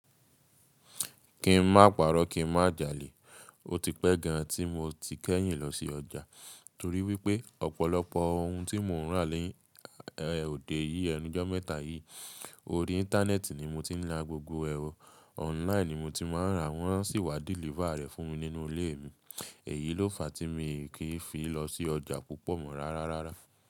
Kì í má pàrọ́, kì í má jalè. Ó ti pẹ́ gan ni mo ti kẹ́yìn lọ sí ọjà, torí wípé ọ̀pọ̀lọpọ̀ ohun tí mò ń rà lóde òdí yìí, ẹnú ijọ̀ mẹ́ta yìí, orí íńtánẹ́ẹ̀tì ni mo ti ń ra gbogbo ẹ̀ o. Online ni mo ti ma ń rà, wọ́n sì wá deliver rẹ̀ fún mi nínú ilé mi. Èyí ló fà tí mi kì í fi lọ sí ọjà púpọ̀ mọ́ rárárá.